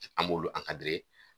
An m'olu